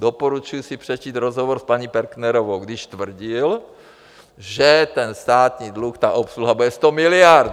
Doporučuji si přečíst rozhovor s paní Perknerovou, když tvrdil, že ten státní dluh, ta obsluha bude 100 miliard!